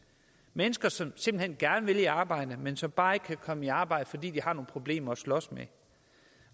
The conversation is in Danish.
mennesker som simpelt hen gerne vil i arbejde men som bare ikke kan komme i arbejde fordi de har nogle problemer at slås med